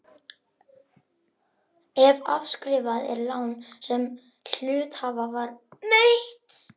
ef afskrifað er lán sem hluthafa var veitt.